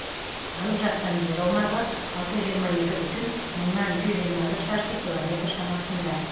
алып жатқан жер аумағы алты жүз жиырма екі бүтін мыңнан жүз жиырма бір шаршы километр шамасында